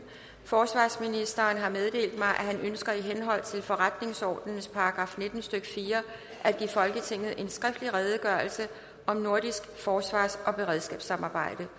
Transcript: forsvarsministeren har meddelt mig at han ønsker i henhold til forretningsordenens § nitten stykke fire at give folketinget en skriftlig redegørelse om nordisk forsvars og beredskabssamarbejde